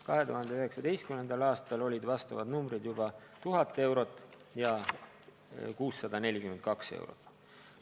2019. aastal olid vastavad numbrid juba 1000 eurot ja 642 eurot.